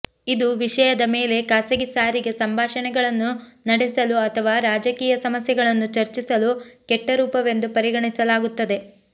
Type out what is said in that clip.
ಇದು ವಿಷಯದ ಮೇಲೆ ಖಾಸಗಿ ಸಾರಿಗೆ ಸಂಭಾಷಣೆಗಳನ್ನು ನಡೆಸಲು ಅಥವಾ ರಾಜಕೀಯ ಸಮಸ್ಯೆಗಳನ್ನು ಚರ್ಚಿಸಲು ಕೆಟ್ಟ ರೂಪವೆಂದು ಪರಿಗಣಿಸಲಾಗುತ್ತದೆ